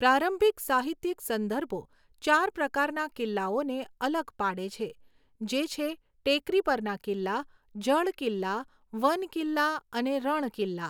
પ્રારંભિક સાહિત્યિક સંદર્ભો ચાર પ્રકારના કિલ્લાઓને અલગ પાડે છે, જે છે ટેકરી પરના કિલ્લા, જળ કિલ્લા, વન કિલ્લા અને રણ કિલ્લા.